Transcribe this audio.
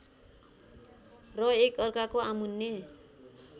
र एकअर्काको आमुन्ने